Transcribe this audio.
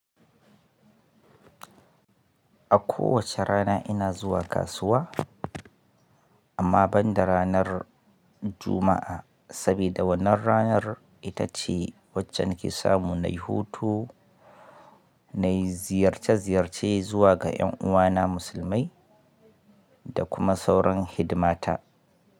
A kowace rana ina zuwa kasuwa, amma ban da ranar Juma'a, saboda wannan ranar ita ce wacce nake samu na yi hutu, nayi ziyarce-ziyarce zuwa ga 'yan uwana musulmai da kuma sauran hidimata.